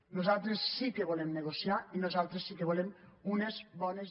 nosaltres sí que volem negociar i nosaltres sí que volem unes bones